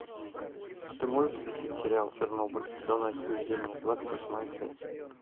ты можешь включить сериал чернобыль зона отчуждения двадцать восьмая часть